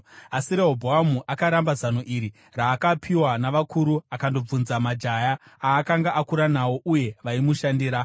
Asi Rehobhoamu akaramba zano iri raakapiwa navakuru akandobvunza majaya aakanga akura nawo uye vaimushandira.